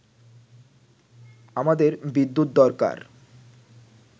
“আমাদের বিদ্যুৎ দরকার